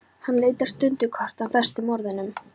Hann leitar stundarkorn að bestu orðunum.